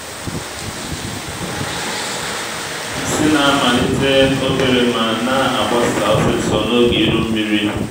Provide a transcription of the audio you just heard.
nsi na-amalite obere ma na-agbasa osisor n’oge iru nmiri